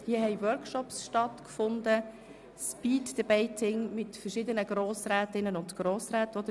Es fanden Workshops statt wie zum Beispiel ein Speed-Debating, an welchem verschiedene Grossrätinnen und Grossräten teilnahmen.